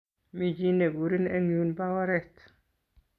Mi chi nekurin en yun pa oret.